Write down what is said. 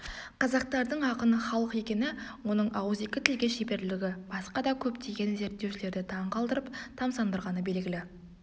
қазақтардың ақын халық екені оның ауызекі тілге шеберлігі басқа да көптеген зерттеушілерді таң қалдырып тамсамдырғаны белгілі